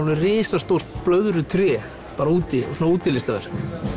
risastórt blöðrutré bara úti svona útilistaverk